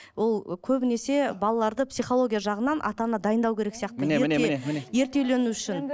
ол ы көбінесе балаларды психология жағынан ата ана дайындау керек сияқты ерте үйлену үшін